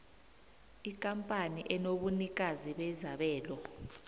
ikampani enobunikazi bezabelo